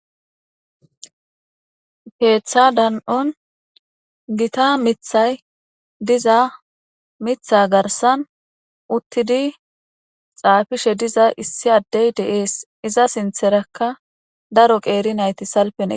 keeththa dan7on gita mithay diza mitha garsan uttidi xaafishe diza issi addey de7ees iza sintherakka daro qeeri nayti salpen eq.